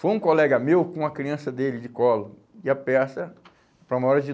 Foi um colega meu com a criança dele de colo e a peça para uma hora de